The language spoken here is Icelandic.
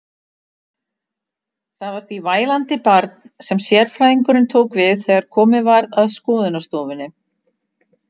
Það var því vælandi barn sem sérfræðingurinn tók við þegar komið var að skoðunarstofunni.